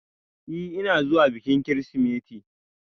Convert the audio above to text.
Ee, ina zuwa bikin Kirsimeti.